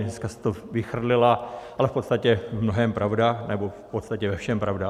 Dneska jste to vychrlila, ale v podstatě v mnohém pravda nebo v podstatě ve všem pravda.